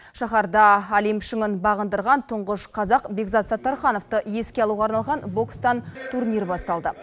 шаһарда олимп шыңын бағындырған тұңғыш қазақ бекзат саттархановты еске алуға арналған бокстан турнир басталды